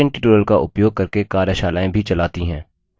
spoken tutorials का उपयोग करके कार्यशालाएँ भी चलाती है